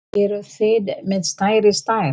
Eruð þið með stærri stærð?